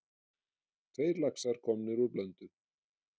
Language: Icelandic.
Tveir laxar komnir úr Blöndu